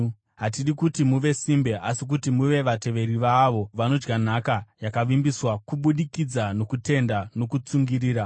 Hatidi kuti muve simbe, asi kuti muve vateveri vaavo vanodya nhaka yakavimbiswa kubudikidza nokutenda nokutsungirira.